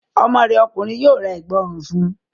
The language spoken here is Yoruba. Ọmọ rẹ ọkùnrin yóò ra Ẹ̀gbá ọrùn fun